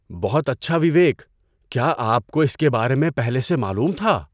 بہت اچھا وویک! کیا آپ کو اس کے بارے میں پہلے سے معلوم تھا؟